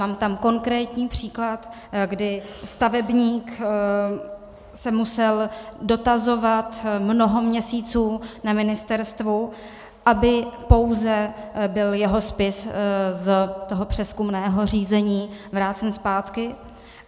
Mám tam konkrétní příklad, kdy stavebník se musel dotazovat mnoho měsíců na ministerstvu, aby pouze byl jeho spis z toho přezkumného řízení vrácen zpátky.